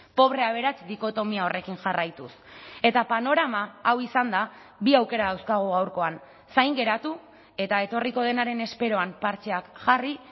pobrea aberats dikotomia horrekin jarraituz eta panorama hau izanda bi aukera dauzkagu gaurkoan zain geratu eta etorriko denaren esperoan partxeak jarri